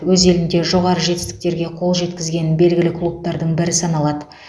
өз елінде жоғары жетістіктерге қол жеткізген белгілі клубтардың бірі саналады